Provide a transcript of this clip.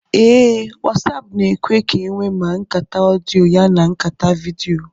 Ee, Wasáápu na-èkwé ka enwe ma nkàtá ọdịyo yana nkàtá vidiyo